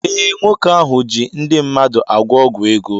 Ee, nwoke ahụ ji ndị mmadụ agwọ ọgwụ ego